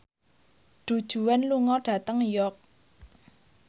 Du Juan lunga dhateng York